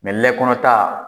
Mɛ lɛ kɔnɔ ta.